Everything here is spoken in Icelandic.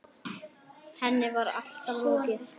Henni var allri lokið.